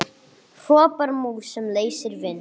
hrópar mús sem leysir vind.